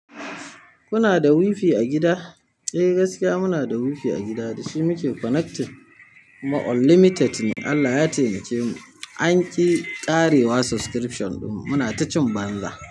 Kuna da wifi a gida. Eh gaskiya muna da wifi a gida da shi muke connected kuma unlimited ne. Allah ya taimake mu an ƙi ƙarewa subscription ɗin mu, muna ta cin banza.